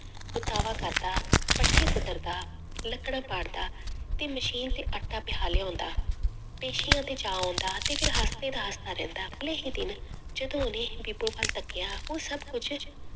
ਕਰਦਾ, ਪੱਠੇ ਕੁੱਤਰਦਾ ਲੱਕੜਾਂ ਪਾੜਦਾ ਤੇ ਮਸੀਨ ਤੇ ਆਟਾ ਪਿਹਾ ਲਿਆਉਂਦਾ, ਪੇਸੀਆਂ ਤੇ ਜਾ ਆਉਂਦਾ ਤੇ ਫਿਰ ਅਗਲੇ ਹੀ ਦਿਨ ਜਦੋਂ ਉਹਨੇ ਬੀਬੋ ਵੱਲ ਤੱਕਿਆ ਉਹ ਸਭ ਕੁੱਝ